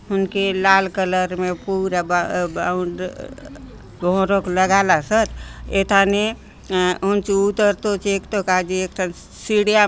हुनके लाल कलर ने पूरा ब-- बाउंड लगालोसोत एथाने अ हुन्चो उतर तो चेगतो काजे सीढ़िया --